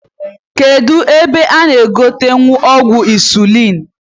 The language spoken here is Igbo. Kedu ebe a g'egotenwu ọgwụ insuliin?